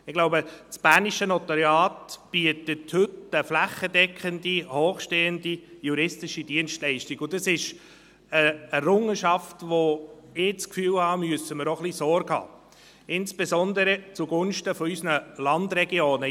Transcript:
Ich glaube, das bernische Notariat bietet heute eine flächendeckende hochstehende juristische Dienstleistung, und dies ist eine Errungenschaft, bei der ich das Gefühl habe, wir müssen ihr auch ein wenig Sorge tragen – insbesondere zugunsten unserer Landregionen.